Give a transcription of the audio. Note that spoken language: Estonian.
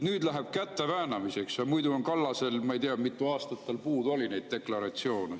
Nüüd läheb käte väänamiseks, muidu on Kallasel, ma ei tea, mitu aastat tal puudu oli neid deklaratsioone.